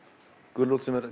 gulrót sem er